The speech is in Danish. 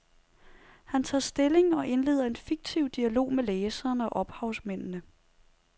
Han tager stilling og indleder en fiktiv dialog med læserne og ophavsmændene.